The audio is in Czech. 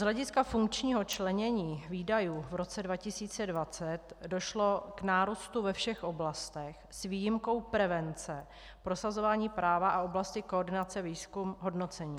Z hlediska funkčního členění výdajů v roce 2020 (?) došlo k nárůstu ve všech oblastech s výjimkou prevence, prosazování práva a oblasti koordinace výzkum, hodnocení.